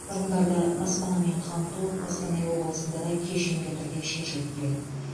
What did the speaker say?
тұрғындарды баспанамен қамту қостанай облысында да кешенді түрде шешіліп келеді